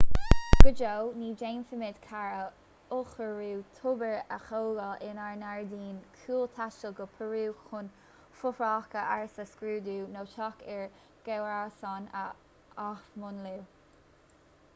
go deo ní dhéanfaimid carr a ollchóiriú tobair a thógáil inár ngairdín cúil taisteal go peiriú chun fothracha ársa a scrúdú nó teach ár gcomharsan a athmhúnlú